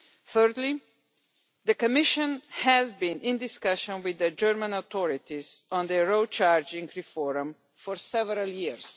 Thirdly, the Commission has been in discussions with the German authorities on their road charging reform for several years.